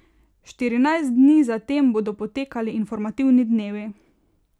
Štirinajst dni za tem bodo potekali informativni dnevi.